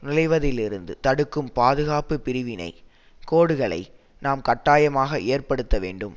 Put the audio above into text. நுழைவதிலிருந்து தடுக்கும் பாதுகாப்பு பிரிவினை கோடுகளை நாம் கட்டாயமாக ஏற்படுத்த வேண்டும்